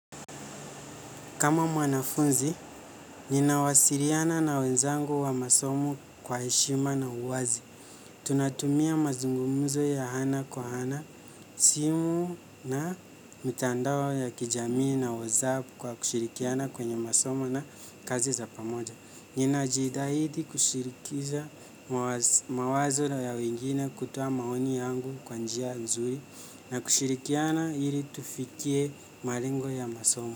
Kama mwanafunzi, ninawasiliana na wenzangu wa masomo kwa heshima na uwazi. Tunatumia mazungumuzo ya hana kwa hana, simu na mitandao ya kijamii na WhatsApp kwa kushirikiana kwenye masomo na kazi za pamoja. Nina jitahidi kushirikisha mawazo ya wengine kutoa maoni yangu kwanjia nzuri na kushirikiana hili tufikie malengo ya masomo.